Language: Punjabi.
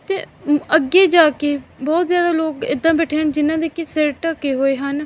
ਤੇ ਅੱਗੇ ਜਾ ਕੇ ਬਹੁਤ ਜਿਆਦਾ ਲੋਗ ਇਹਦਾ ਬੈਠੇ ਹਨ ਜਿਨ੍ਹਾਂ ਦੇ ਕੀ ਸਿਰ ਢਕੇ ਹੋਏ ਹਨ।